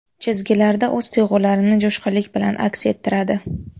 Chizgilarda o‘z tuyg‘ularini jo‘shqinlik bilan aks ettiradi.